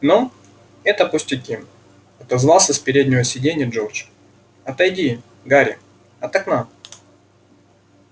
ну это пустяки отозвался с переднего сиденья джордж отойди гарри от окна